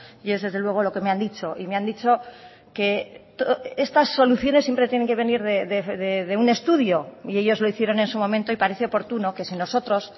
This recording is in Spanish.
y es desde luego lo que me han dicho y me han dicho que estas soluciones siempre tienen que venir de un estudio y ellos lo hicieron en su momento y parece oportuno que si nosotros